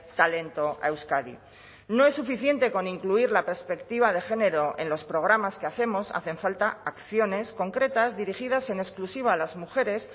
talento a euskadi no es suficiente con incluir la perspectiva de género en los programas que hacemos hacen falta acciones concretas dirigidas en exclusiva a las mujeres